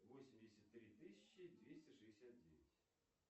восемьдесят три тысячи двести шестьдесят девять